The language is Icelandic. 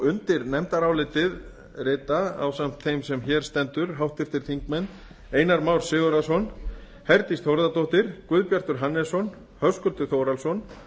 undir nefndarálitið rita ásamt þeim sem hér stendur háttvirtir þingmenn einar már sigurðarson herdís þórðardóttir guðbjartur hannesson höskuldur þórhallsson